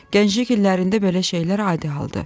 Gənclik illərində belə şeylər adi haldır.